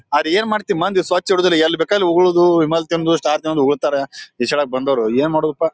ಅದ್ರ್ ಏನ್ ಮಾಡ್ತಿ ಮಂದಿ ಸ್ವಚ್ ಇಡೋದಿಲ್ಲ ಎಲ್ ಬೇಕಾದ್ರ ಅಲ್ ಉಗುಳೋದು ವಿಮಲ್ ತಿಂದು ಸ್ಟಾರ್ ತಿಂದು ಉಗುಳ್ತಾರೆ ಈ ಸಲ ಬಂದೋರು ಏನ್ ಮಾಡೊದಪ--